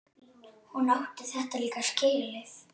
Átti hún þetta líka skilið?